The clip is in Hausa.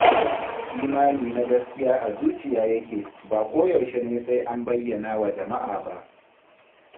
Imani na gaskiya a zuciya yake, ba koyaushe ne sai an bayyana wa jama'a ba.